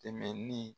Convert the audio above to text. Tɛmɛni